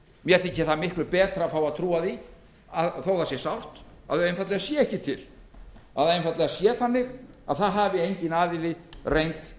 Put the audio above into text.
mér þykir miklu betra að fá að trúa því þótt það sé sárt að þau séu ekki til það sé einfaldlega þannig að enginn aðili hafi reynt